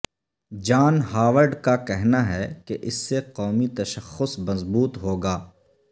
جان Howard کا کہنا ہے کہ اس سے قومی تشخص مضبوط ہو گا